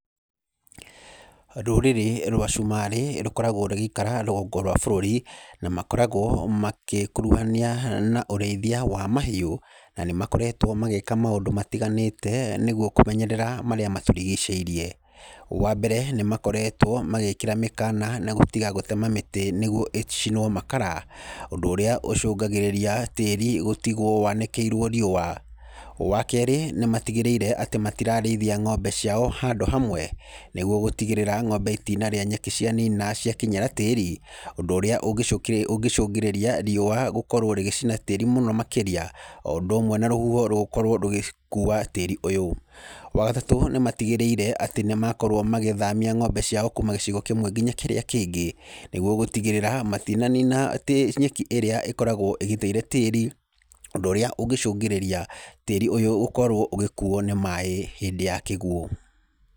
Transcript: Rũrĩrĩ rwa cumarĩ rũkoragwo rũgĩikara rũgongo rwa bũrũri na makoragwo magĩkũrũhania na ũrĩithia wa mahiũ, na nĩ makoretwo magĩka maũndũ matiganĩte nĩguo kũmenyerera marĩa matũrigicĩirie. Wa mbere, nĩmakoretwo magĩkĩra mĩkana na gũtiga gũtema mĩtĩ nĩguo ĩcinwo makara, ũndũ ũrĩa ũcũngagĩrĩria tĩri gũtigwo wanĩkĩirwo riũa. Wa kerĩ, nĩmatigĩrĩire atĩ matirarĩithia ng'ombe cio handũ hamwe, nĩguo gũtigĩrĩra ng'ombe itinarĩa nyeki cianina ciakinyĩra tĩri, ũndũ ũrĩa ũngĩcũngĩrĩria riũa gũkorwo rĩgĩracina tĩri mũno makĩria, o ũndũ ũmwe na rũhuho gũkorwo rũgĩkua tĩri ũyũ. Wa gatatũ, nĩmatigĩrĩire atĩ nĩmakorwo magĩthamia ng'ombe ciao kuma gĩcigo kĩmwe nginya kĩrĩa kĩngĩ, nĩguo gũtigĩrĩra matinanina nyeki ĩrĩa ĩkoragwo ĩgitĩire tĩri, ũndũ ũrĩa ũngĩcũngĩrĩria tĩri ũyũ gũkorwo ũgĩkuo nĩ maaĩ hĩndĩ ya kĩguũ.